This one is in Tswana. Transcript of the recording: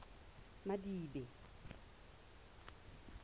madibe